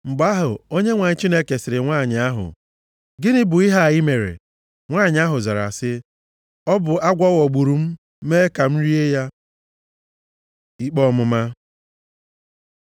Mgbe ahụ, Onyenwe anyị Chineke sịrị nwanyị ahụ, “Gịnị bụ ihe a i mere?” Nwanyị ahụ zara sị, “Ọ bụ agwọ ghọgburu m, mee m ka m rie ya.” Ikpe Ọmụma